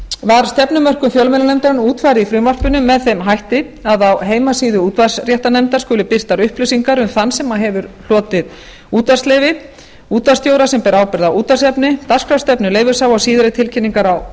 var stefnumörkun fjölmiðlanefndarinnar útfærð í frumvarpinu með þeim hætti að á heimasíðu útvarpsréttarnefndar skuli birtar upplýsingar um þann sem hefur hlotið útvarpsleyfi útvarpsstjóra sem ber ábyrgð á útvarpsefni dagskrárstefnu leyfishafa og síðari tilkynningar á